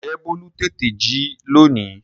Ǹjẹ́ bólú tètè jí lónìí?